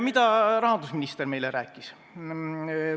Mida rahandusminister meile rääkis?